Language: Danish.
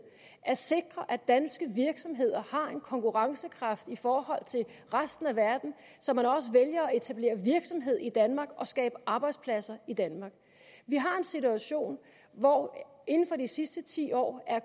at sikre at danske virksomheder har en konkurrencekraft i forhold til resten af verden så man også vælger at etablere virksomhed i danmark og skabe arbejdspladser i danmark vi har en situation hvor inden for de sidste ti år er